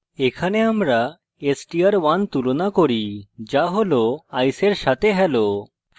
এখানে আমরা str1 তুলনা করি যা হল ice এর সাথে hello